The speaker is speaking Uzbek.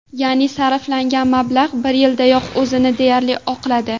Ya’ni, sarflangan mablag‘ bir yildayoq o‘zini deyarli oqladi.